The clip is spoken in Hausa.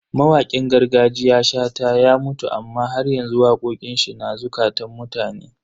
Mawakin gargajiya Shata ya mutu amma haryanzu waƙoƙin shi na zukatan mutane.